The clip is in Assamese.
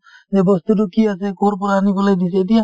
যে বস্তুতো কি আছে কৰ পৰা আনি পেলাই থৈছে এতিয়া